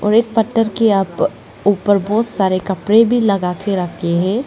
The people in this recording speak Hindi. और एक पत्थर की आप ऊपर बहोत सारे कपड़े भी लगा के रखे हैं।